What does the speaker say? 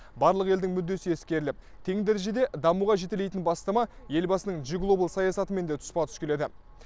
барлық елдің мүддесі ескеріліп тең дәрежеде дамуға жетелейтін бастама елбасының джи глобал саясатымен тұспа тұс келеді